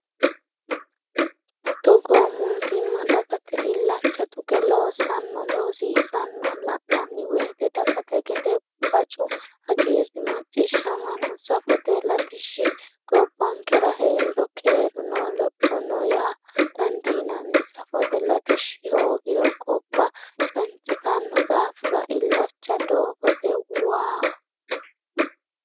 Togo mootimma dagate illacha tuge loossanna loosiisanna la'nanni woyte dagate gede bacu hagiiri macciishshamano, safote latishshi gobbankera heeriro keeru no, Lopho no yaa dandiinanni ,safote latishshi hoogiro gobba cancittano daafira ilacha doogote, waaho.